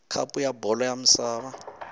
khapu ya bolo ya misava